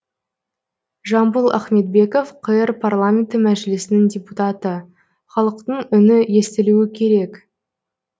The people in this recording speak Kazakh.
жамбыл ахметбеков қр парламенті мәжілісінің депутаты халықтың үні естілуі керек